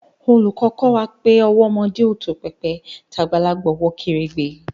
Oluko ko wa pe owó ọmọdé tó pépè tàbí tagbalagbà wọ kèrègbè